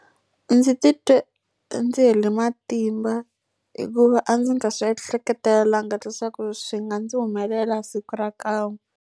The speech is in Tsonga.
Ndzi titwe ndzi hele matimba hikuva a ndzi nga swi ehleketelelangi leswaku swi nga ndzi humelela siku ra kan'we.